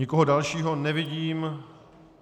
Nikoho dalšího nevidím.